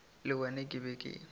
le wena ke be ke